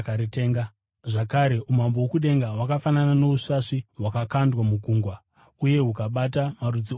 “Zvakare umambo hwokudenga hwakafanana nousvasvi hwakakandwa mugungwa uye hukabata marudzi ose ehove.